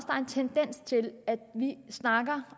er en tendens til at vi snakker